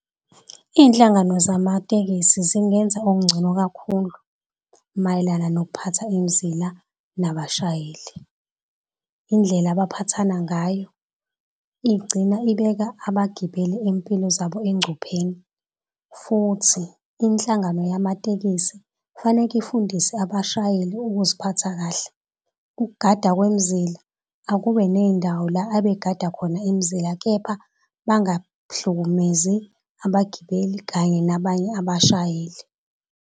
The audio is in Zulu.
Izinhlangano zamatekisi zingenza okungcono kakhulu mayelana nokuphatha imizila nabashayeli. Indlela abaphathana ngayo igcina ibeka abagibeli izimpilo zabo engcupheni. Futhi inhlangano yamatekisi kufaneke ifundise abashayeli ukuziphatha kahle ukugada kwemizila akube nendawo la abegada khona imizila, kepha bangahlukumezi abagibeli kanye nabanye abashayeli.